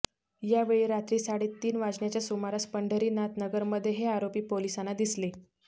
यावेळी रात्री साडे तीन वाजण्याच्या सुमारास पंढरीनाथ नगरमध्ये हे आरोपी पोलिसाना दिसले